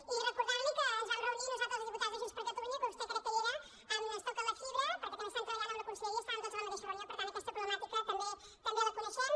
i recordar li que ens vam reunir nosaltres els diputats de junts per catalunya que vostè crec que hi era amb ens toquen la fibra perquè també estan treballant amb la conselleria estàvem tots a la mateixa reunió per tant aquesta problemàtica també la coneixem